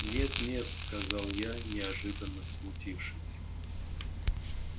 нет-нет сказал я неожиданно смутившись